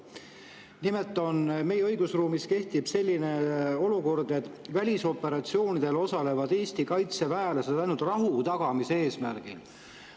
Nimelt, meie õigusruumis kehtib selline kord, et välisoperatsioonidel osalevad Eesti kaitseväelased ainult rahu tagamise eesmärgil.